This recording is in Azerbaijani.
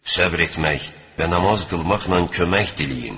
Səbr etmək və namaz qılmaqla kömək diləyin!